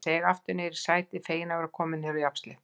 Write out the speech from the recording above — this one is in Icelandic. Ég seig aftur niður á sætið, feginn að vera kominn á jafnsléttu.